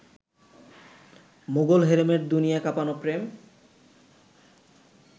মোঘল হেরেমের দুনিয়া কাঁপানো প্রেম